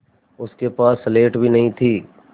उसके पास स्लेट भी नहीं थी